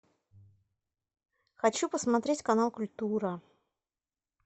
хочу посмотреть канал культура